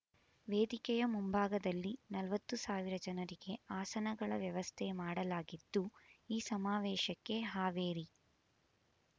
ವೇದಿಕೆಯ ಮುಂಭಾಗದಲ್ಲಿ ನಲವತ್ತು ಸಾವಿರ ಜನರಿಗೆ ಆಸನಗಳ ವ್ಯವಸ್ಥೆ ಮಾಡಲಾಗಿದ್ದು ಈ ಸಮಾವೇಶಕ್ಕೆ ಹಾವೇರಿ